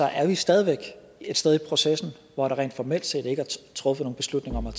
er vi stadig væk et sted i processen hvor der rent formelt set ikke er truffet nogen beslutning om at